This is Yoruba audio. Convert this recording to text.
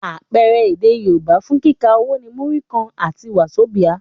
Àpẹẹrẹ èdè Yorùbá fún kíkà owó ni Múrí kan àti Wàzobíà.